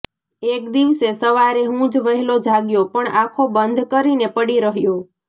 એક દિવસે સવારે હું જ વહેલો જાગ્યો પણ આંખો બંધ કરીને પડી રહ્યો